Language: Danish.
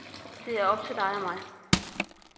Det er op til dig og mig.